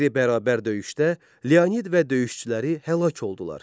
Qeyri-bərabər döyüşdə Leonid və döyüşçüləri həlak oldular.